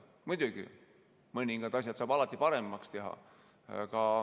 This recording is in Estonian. Muidugi, mõningad asjad saab alati paremaks teha.